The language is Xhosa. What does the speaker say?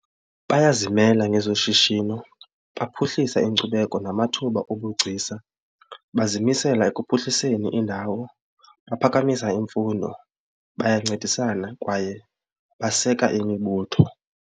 Bayazimela ngezoshishino, baphuhlisa inkcubeko namathuba obugcisa, bazimisela ekuphuhliseni indawo, baphakamisa imfundo, bayancedisana kwaye baseka imibutho.